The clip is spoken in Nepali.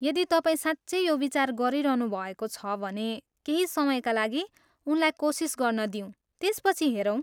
यदि तपाईँ साँच्चै यो विचार गरिरहनु भएको छ भने केही समयका लागि उनलाई कोसिस गर्न दिऊँ त्यसपछि हेरौँ।